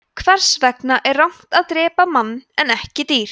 hvers vegna er rangt að drepa mann en ekki dýr